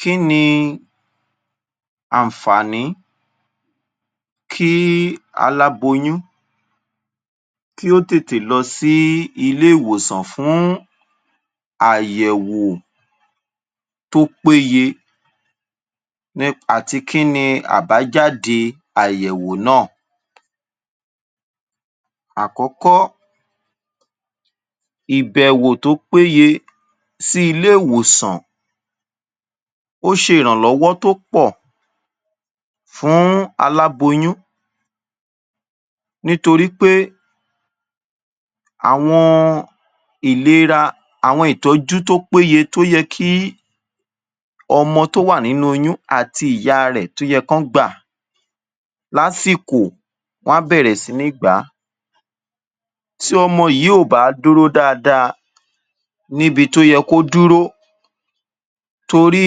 Kí ni àǹfàní kí aláboyún kí ó tètè lọ sí ilé ìwòsàn fún àyẹ̀wò tó péye nípa ti kí ni àbájáde àyẹ̀wò náà. Àkọ́kọ́, ìbẹ̀wò tó péye sí ilé ìwòsàn, ó ṣe iranlọwọ to pò fún aláboyún, nítorí pé àwọn ìlera, àwọn ìtọ́jú tó péye tó yẹ kí ọmọ tó wà nínú oyún àti ìyá tó yẹ kán gbà lásìkò, wọn á bẹ̀rẹ̀ sí ní gbà á, tí ọmọ yìí ó bà dúró dáadáa níbi tó yẹ kó dúró, torí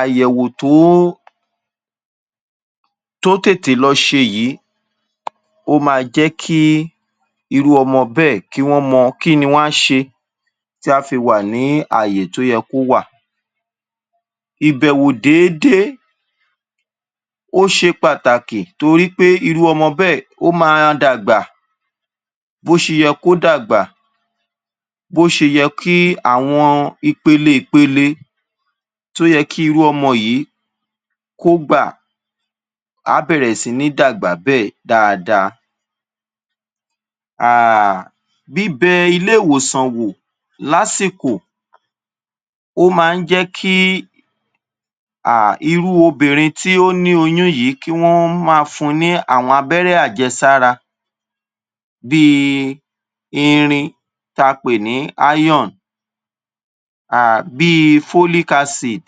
àyẹ̀wò tó ó, tó tètè lọ ṣe yìí, ó máa jẹ́ kí irú ọmọ bẹ́ẹ̀, kí wọ́n mọ kí ni wọ́n á ṣe tá á fi wà ní àyè tó yẹ kó wà. Ìbèwò déédé ó ṣe pàtàkì torí pé irú ọmọ bẹẹ ó máa dàgbà bó ṣe yẹ kó dàgbà, bó ṣe yẹ kí, àwọn ipele ìpele tó yẹ kí irú ọmọ yìí kò gbà, á bẹ̀rẹ̀ sí ní dàgbà bẹ́ẹ̀ dáadáa, um bíbẹ ilé ìwòsàn wò lásìkò ó máa ń jẹ́ kí um irú obìnrin tí ó ní oyún yìí kí wọ́n máa fún ní àwọn àjẹsára, bíi irin tá a pe ní ion, um bíi folic acid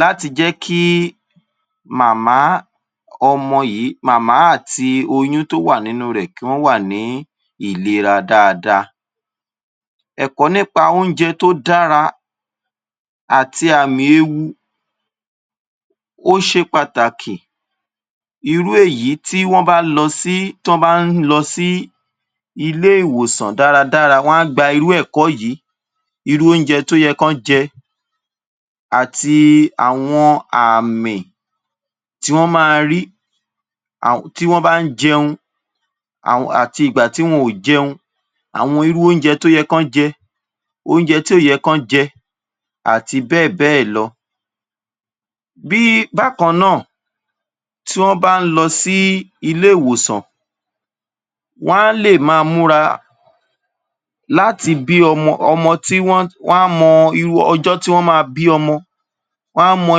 láti jẹ́ kí màmá ọmọ yìí, màmá àti oyún tó wà nínú rẹ kì wọ́n wà ní ìlera dáadáa. Ẹ̀kọ́ nípa oúnjẹ tó dára àti àmì ewu, ó ṣe pàtàkì, irú èyí tí wọ́n bá lọ sí, tán bá ń lọ sí ilé ìwòsàn dáradára, wọn á gbà irú ẹ̀kọ́ yìí, irú oúnjẹ tó yẹ kán jẹ, àti àwọn àmì tí wọn máa rí, tí wọ́n bá ń jẹun, àti ìgbà tí wọn ò jẹun, àwọn irú oúnjẹ tó yẹ kán jẹ, irú oúnjẹ tí ó yẹ kán jẹ àti bẹ́ẹ̀ bẹ́ẹ̀ lọ. Bí, bákan náà, tí wọ́n bá ń lọ sí ilé ìwòsàn, wọn á lè máa múra, láti bí ọmọ, ọmọ tí wọn, wọn á mọ ọjọ́ tí wọ́n máa bí ọmọ, wọn á mọ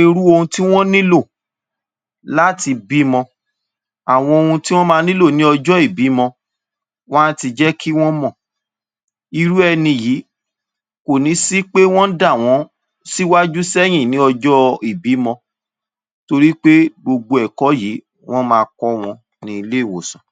irú ohun tí wọ́n nílò láti bímọ, àwọn ohun tí wọ́n máa nílò ní ọjọ́ ìbímọ, wọn á ti jẹ́ kí wọ́n mọ̀, irú ẹni yìí kò ní í ṣe pé wọ́n ń dà wọ́n síwájú sẹ́yìn ní ọ́jọ́ ìbímọ torí pé gbogbo ẹ̀kọ́ yìí wón máa kọ́ wọn ní ilé ìwòsàn.